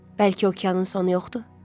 Bəlkə okeanın sonu yoxdur?